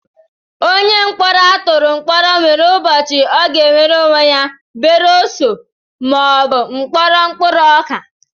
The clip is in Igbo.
Onye ọ bụla a tụrụ mkpọrọ nwere ubochi ọ ga-enwere onwe ya beresọ ma ọ bụ mkpọrọ mkpụrụ ọka